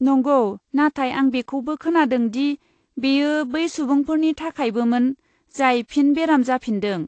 नंगौ, नाथाय आं बेखौबो खोनादों दि बेयो बै सुबुंफोरनि थाखायबोमोन जाय फिन बेराम जाफिनदों।